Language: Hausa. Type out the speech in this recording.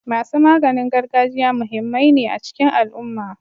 Masu maganin gargajiya muhimmai ne a cikin al'umma.